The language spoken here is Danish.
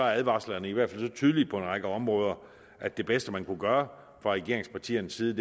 advarslerne i hvert fald er så tydelige på en række områder at det bedste man kunne gøre fra regeringspartiernes side